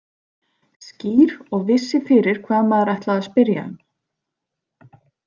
Skýr og vissi fyrir hvað maður ætlaði að spyrja um.